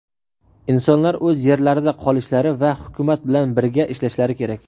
Insonlar o‘z yerlarida qolishlari va Hukumat bilan birga ishlashlari kerak.